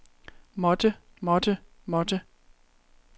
måtte måtte måtte